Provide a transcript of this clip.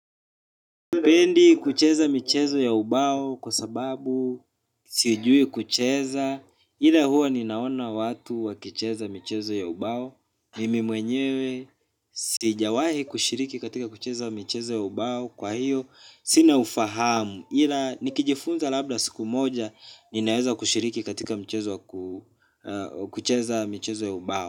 Pendi kucheza mchezo ya ubao kwa sababu siujui kucheza, ila huwa ninaona watu wakicheza michezo ya ubao, mimi mwenyewe sijawahi kushiriki katika kucheza michezo ya ubao kwa hiyo sina ufahamu ila nikijifunza labda siku moja ninaweza kushiriki katika michezo ya ubao.